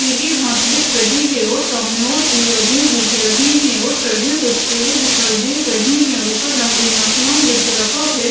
पीली घास दिख रही है और सामने और भी आदमी दिख रहे है और साइड में कुछ पेड़े दिखाई दे रहे हैं ऊपर रंगीन आसमान दिख रहा है।